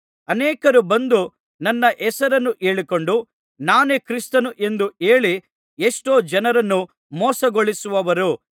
ಅನೇಕರು ಬಂದು ನನ್ನ ಹೆಸರನ್ನು ಹೇಳಿಕೊಂಡು ನಾನೇ ಕ್ರಿಸ್ತನು ಎಂದು ಹೇಳಿ ಎಷ್ಟೋ ಜನರನ್ನು ಮೋಸಗೊಳಿಸುವರು